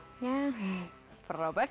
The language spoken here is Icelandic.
frábært